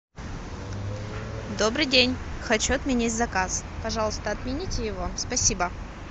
добрый день хочу отменить заказ пожалуйста отмените его спасибо